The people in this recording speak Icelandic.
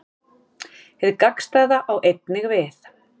Hið gagnstæða á einnig við.